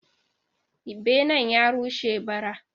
Benen ya rushe ba ra